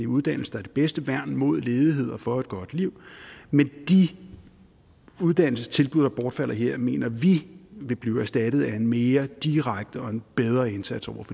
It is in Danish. uddannelse er det bedste værn mod ledighed og for et godt liv men de uddannelsestilbud der bortfalder her mener vi vil blive erstattet af en mere direkte og en bedre indsats over